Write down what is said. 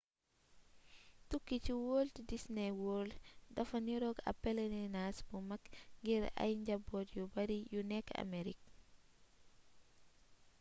tukki ci walt disney world dafay nirook ab pelirinaas bu mag ngir ay njaboot yu bari yu nekk amerik